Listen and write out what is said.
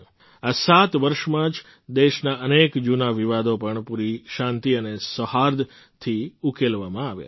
આ સાત વર્ષમાં જ દેસના અનેક જૂના વિવાદો પણ પૂરી શાંતિ અને સૌહર્દથી ઉકેલવામાં આવ્યા છે